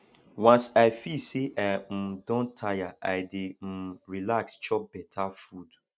once i feel sey i um don tire i dey um relax chop beta food